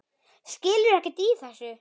Skilur ekkert í þessu.